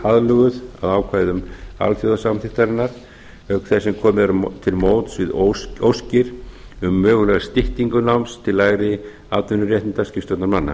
aðlöguð að ákvæðum alþjóðasamþykktarinnar auk þess sem komið er til móts við óskir um mögulega styttingu náms til lægri atvinnuréttinda skipstjórnarmanna